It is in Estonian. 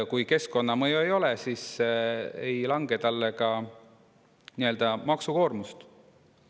Kui keskkonnamõju ei ole, siis ei lange talle ka maksukoormust.